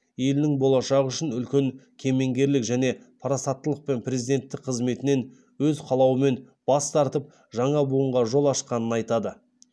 елінің болашағы үшін үлкен кемеңгерлік және парасаттылықпен президенттік қызметінен өз қалауымен бас тартып жаңа буынға жол ашқанын айтады